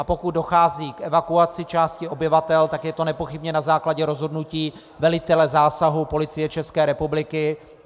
A pokud dochází k evakuaci části obyvatel, tak je to nepochybně na základě rozhodnutí velitele zásahu Policie České republiky.